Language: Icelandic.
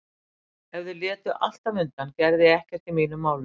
Ef þau létu alltaf undan gerði ég ekkert í mínum málum.